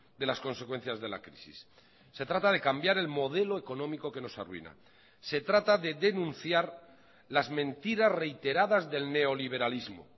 de las consecuencias de la crisis se trata de cambiar el modelo económico que nos arruina se trata de denunciar las mentiras reiteradas del neoliberalismo